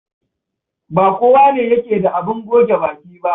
Ba kowane yake da abin goge baki ba.